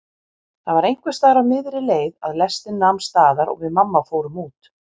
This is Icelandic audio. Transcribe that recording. Það var einhversstaðar á miðri leið að lestin nam staðar og við mamma fórum út.